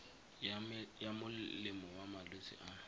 ya molemo wa malwetse a